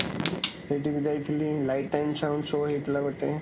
ସେଇଠିକୁ ଯାଇଥିଲି, light and sound show ହେଇଥିଲା ଗୋଟେ